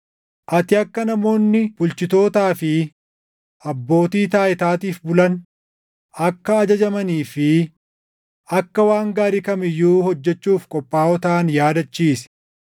Ati akka namoonni bulchitootaa fi abbootii taayitaatiif bulan, akka ajajamanii fi akka waan gaarii kam iyyuu hojjechuuf qophaaʼoo taʼan yaadachiisi;